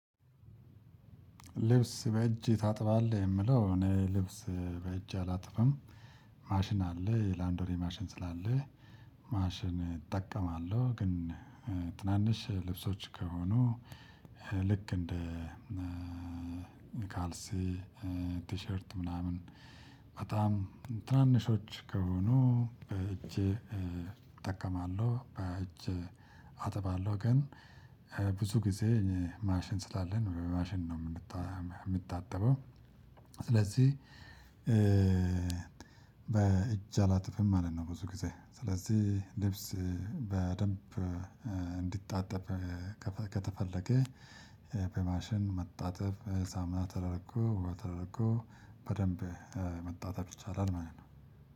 ልብስ በእጅ ታጥባለህ የምለው እኔ ልብስ በእጄ አላጥብም ማሽን አለ የላውንደሪ ማሽን አለ። ማሽን እጠቀማለሁ ግን። ትናንሽ ልብሶች ከሆኑ ልክ እንደ ካልሲ ቲሸርት ምናምን በጣም ትናንሾች ከሆኑ በእጄ እጠቀማለሁ በእጅ አጥባለሁ። ግን ብዙ ጊዜ እኔ ማሽን ስላለን ማሽን ነው የምታጠበው። ስለዚህ በእጅ አላጥብም ማለት ነው። ብዙ ጊዜ ስለዚህ ልብስ በደንብ እንዲጣጠብ ከተፈለገ በማሽን መጣጠብ ሳሙና ተደርጎ ውሃ ተደርጎ በደንብ መጣጠብ ይቻላል ማለት ነው።